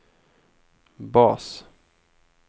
bas